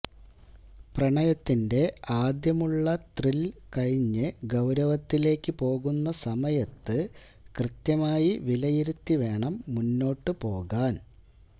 പ്രണയത്തിന്റെ ആദ്യമുളള ത്രില് കഴിഞ്ഞ് ഗൌരവത്തിലേക്ക് പോകുന്ന സമയത്ത് കൃത്യമായി വിലയിരുത്തി വേണം മുന്നോട്ട് പോകാന്